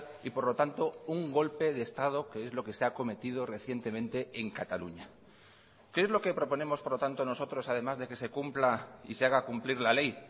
y por lo tanto un golpe de estado que es lo que se ha cometido recientemente en cataluña qué es lo que proponemos por lo tanto nosotros además de que se cumpla y se haga cumplir la ley